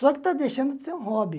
Só que está deixando de ser um hobby.